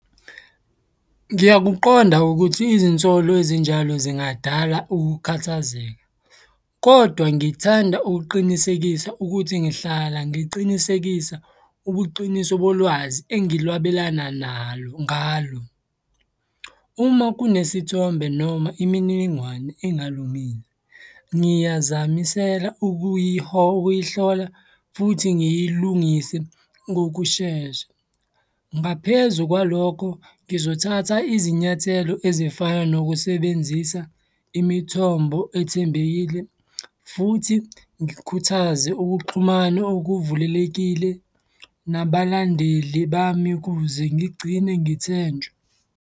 Ngiyakuqonda ukuthi izinsolo ezinjalo zingadala ukukhathazeka, kodwa ngithanda ukuqinisekisa ukuthi ngihlala ngiqinisekisa ubuqiniso bolwazi engilwabelana nalo ngalo. Uma kunesithombe noma imininingwane engalungile ngiyazamisela ukuyihlola futhi ngiyilungise ngokushesha. Ngaphezu kwalokho, ngizothatha izinyathelo ezifana nokusebenzisa imithombo ethembekile, futhi ngikhuthaze ukuxhumana okuvulelekile nabalandeli bami kuze ngigcine ngithenjwa.